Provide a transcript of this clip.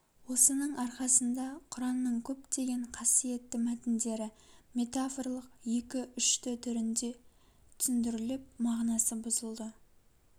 осының арқасында құранның көптеген қасиетті мәтіндері метафорлық екі-үшты түрде түсіндіріліп мағынасы бұзылды